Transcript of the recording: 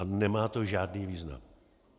A nemá to žádný význam.